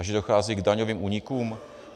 A že dochází k daňovým únikům?